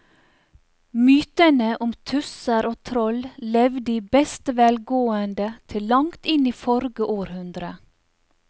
Mytene om tusser og troll levde i beste velgående til langt inn i forrige århundre.